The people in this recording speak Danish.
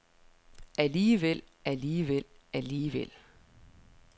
alligevel alligevel alligevel